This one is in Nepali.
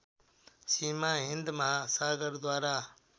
सीमा हिन्द महासागरद्वारा